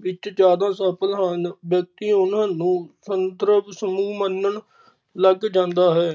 ਵਿੱਚ ਜਾਦਾ ਸਫਲ ਹਨ ਵਿਅਕਤੀ ਉਨਾਂ ਨੂੰ ਸਦਰੱਵ ਸਮੂਹ ਮੰਨਣ ਲੱਗ ਜਾਂਦਾ ਹੈ।